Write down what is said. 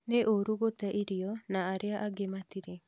Nĩ ũrũ gũte irio na arĩa angĩ matirĩ